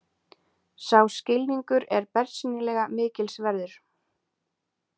Sá skilningur er bersýnilega mikils verður.